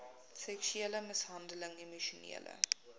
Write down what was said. seksuele mishandeling emosionele